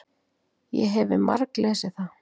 Ég hefi marglesið það.